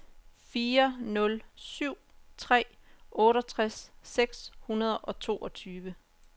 fire nul syv tre otteogtres seks hundrede og toogtyve